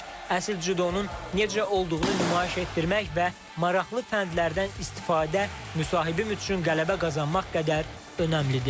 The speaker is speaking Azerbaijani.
Əsl cüdonun necə olduğunu nümayiş etdirmək və maraqlı fəndlərdən istifadə müsahibi üçün qələbə qazanmaq qədər önəmlidir.